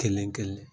Kelen kelen